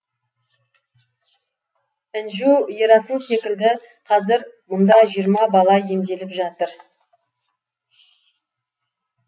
інжу ерасыл секілді қазір мұнда жиырма бала емделіп жатыр